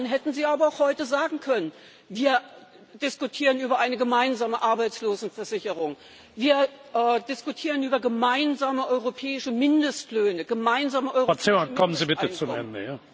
waren? Dann hätten Sie aber auch heute sagen können Wir diskutieren über eine gemeinsame Arbeitslosenversicherung, wir diskutieren über gemeinsame europäische Mindestlöhne, gemeinsame europäische Mindesteinkommen.